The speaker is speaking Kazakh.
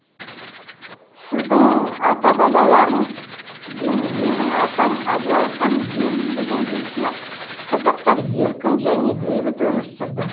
сіздің ата бабаларыңыз бен менің атам абылай хан ел билеген кезде қазақтар еркін және бейбіт өмір сүрді